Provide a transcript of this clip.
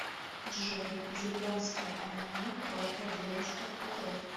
джой японское аниме про о девочках подростках